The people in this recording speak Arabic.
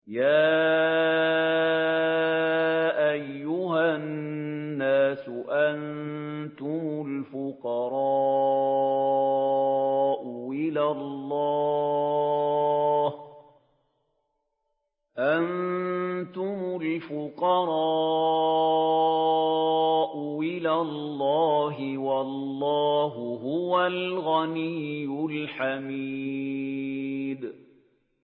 ۞ يَا أَيُّهَا النَّاسُ أَنتُمُ الْفُقَرَاءُ إِلَى اللَّهِ ۖ وَاللَّهُ هُوَ الْغَنِيُّ الْحَمِيدُ